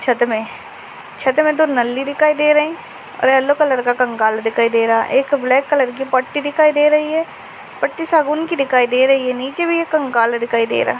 छत्त मे छत मे दो नल्ली दिखाई दे रही और यलो कलर का कंकाल दिखाई दे रहा है एक ब्लैक कलर की पट्टी दिखाई दे रही है पट्टी सागून की दिखाई दे रही है नीचे भी एक कंकाल दिखाई दे रहा--